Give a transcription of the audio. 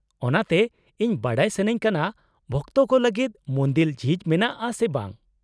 -ᱚᱱᱟᱛᱮ, ᱤᱧ ᱵᱟᱰᱟᱭ ᱥᱟᱹᱱᱟᱹᱧ ᱠᱟᱱᱟ ᱵᱷᱚᱠᱛᱚ ᱠᱚ ᱞᱟᱹᱜᱤᱫ ᱢᱩᱱᱫᱤᱞ ᱡᱷᱤᱡ ᱢᱮᱱᱟᱜᱼᱟ ᱥᱮ ᱵᱟᱝ ᱾